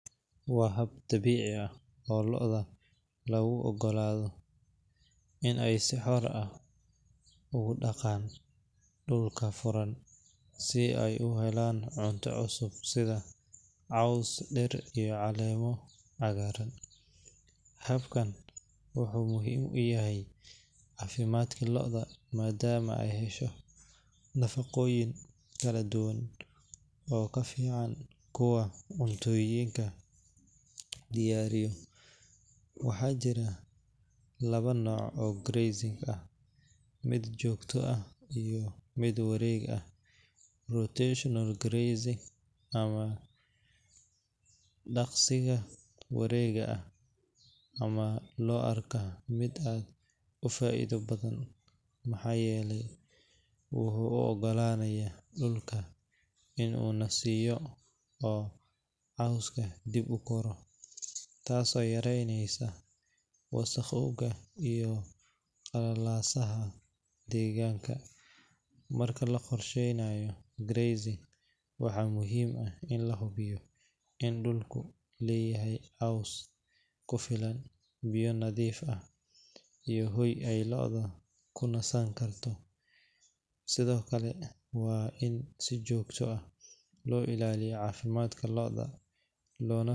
Wa haab daci aah loodah lagu ugoladoh, Inay sixoor aah ugu daqan dulka furan sibay u helan cunta cusub setha coos dheer iyo cagaran habakan waxu muhim u yahay cafimadka loodah madama Aya heeshoh, nafaqorin kaladuwan oo kalfican cuntoyinkas diyariyah waxa jirah Kawa nooc oo geerrn mid joktoh aah iyo mid wareeg aah, rotational grazing amah daqsika wareegayo amah lo arkah mid utaitha bathan waxayeelay waxu u ogalayana dulka oo cooska deeb u koroh, taasi yareneysah wasaqa iyo qalalsaha deganka marka la qorshenayoh garrezeen waxa muhim aah in la hubiyoh dulka leeyahay xoos kufilan biya natheef aah iyo hooy ay lloda kunisankartoh sethokali wa inside jokta aah lo ilaliyah cafimdka loodah.